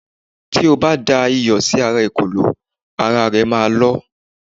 ti o ba da iyò sí ara ekòló, ara e ma lọ